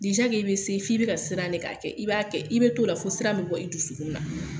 i bɛ se f'i bɛ k'a siran de k'a kɛ, i b'a kɛ i bɛ t'o la fɔ sira bɛ bɔ i dusukun na.